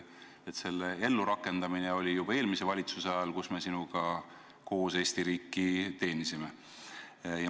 Seda hakati ellu rakendama juba eelmise valitsuse ajal, kus me sinuga koos Eesti riiki teenisime.